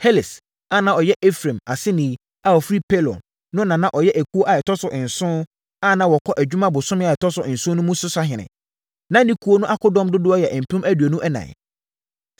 Heles a na ɔyɛ Efraim aseni a ɔfiri Pelon no na na ɔyɛ ekuo a ɛtɔ so nson, a na wɔkɔ adwuma bosome a ɛtɔ so nson mu no so sahene. Na ne ekuo no akodɔm dodoɔ yɛ mpem aduonu ɛnan (24,000).